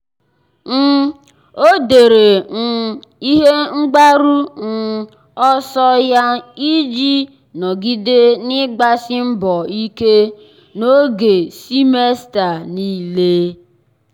um ọ́ dèrè um ihe mgbaru um ọsọ ya iji nọ́gídé n’ị́gbàsí mbọ ike n’ógè semester niile.